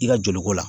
I ka joli ko la